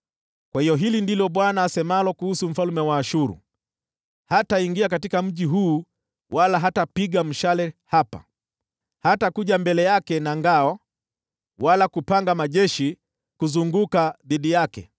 “Kwa hiyo hili ndilo asemalo Bwana kuhusu mfalme wa Ashuru: “Hataingia katika mji huu wala hatapiga mshale hapa. Hatakuja mbele yake na ngao wala kupanga majeshi kuuzingira.